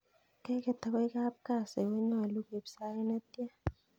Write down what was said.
Keket akoi kap kasi konyolu koib sait netian